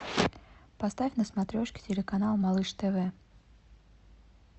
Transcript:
поставь на смотрешке телеканал малыш тв